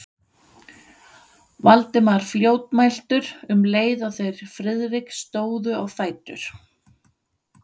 Valdimar fljótmæltur, um leið og þeir Friðrik stóðu á fætur.